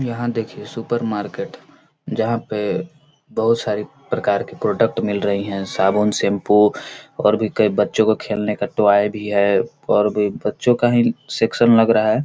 यहाँ देखिए supermarket जहां पे बहोत सारे प्रकार के प्रोडक्ट मिल रही है साबुन शैम्पू और भी कई बच्चो को खेलने का टॉय भी है और भी बच्चो का ही खेलने का सेक्शन लग रहा है।